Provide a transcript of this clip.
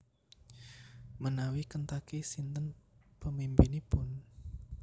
Menawi Kentucky sinten pemimpinipun?